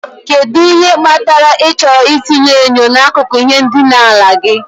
Kedu ihe kpatara ịchọrọ itinye enyo n'akụkụ ihe ndina gị?